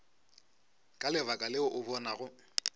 ka lebaka leo o bonago